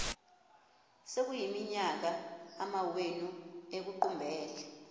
sekuyiminyaka amawenu ekuqumbele